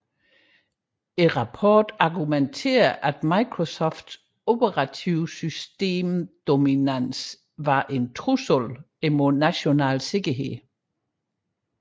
Rapporten argumenterede at Microsofts operativsystems dominans var en trussel imod national sikkerhed